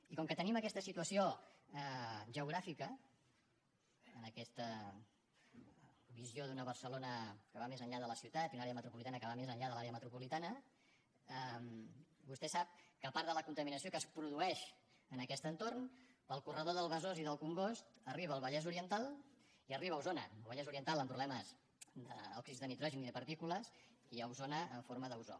i com que tenim aquesta situació geogràfica en aquesta visió d’una barcelona que va més enllà de la ciutat i una àrea metropolitana que va més enllà de l’àrea metropolitana vostè sap que part de la contaminació que es produeix en aquest entorn pel corredor del besòs i del congost arriba al vallès oriental i arriba a osona al vallès oriental amb problemes d’òxids de nitrogen i de partícules i a osona en forma d’ozó